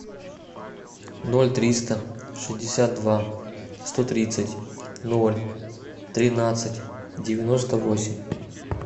ноль триста шестьдесят два сто тридцать ноль тринадцать девяносто восемь